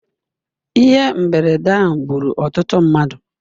Ihe mberede ahụ gburu ọtụtụ mmadụ.